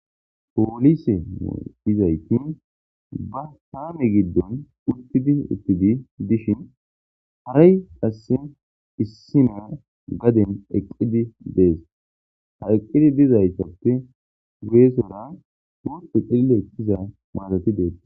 Poolise dizayti ba taame giddon uttidi uttidi dishin haray qasse issi na gaden eqqidi dees. Ha eqqidi dizaytappe guyesora wuste qille iza maarati dees.